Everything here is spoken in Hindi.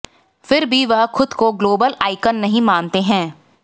फिर भी वह खुद को ग्लोबल आइकॉन नहीं मानते हैं